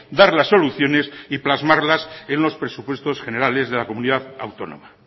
dar las soluciones y plasmarlas en los presupuestos generales de la comunidad autónoma